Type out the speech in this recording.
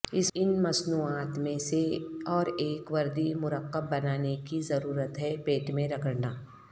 ان مصنوعات میں سے اور ایک وردی مرکب بنانے کی ضرورت ہے پیٹ میں رگڑنا